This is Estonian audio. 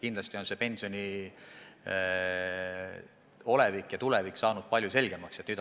Kindlasti on pensioni olevik ja tulevik palju selgemaks saanud.